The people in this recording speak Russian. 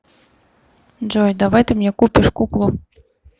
джой давай ты мне купишь куклу